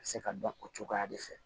Se ka dɔn o cogoya de fɛ